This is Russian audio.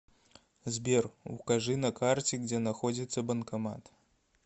сбер укажи на карте где находится банкомат